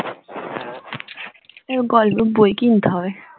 গল্প বই কিনতে হবে।